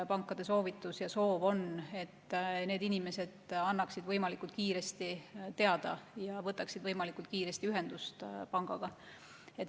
Pankade soovitus ja soov on, et need inimesed annaksid sellest võimalikult kiiresti teada ja võtaksid võimalikult kiiresti ühendust pangaga.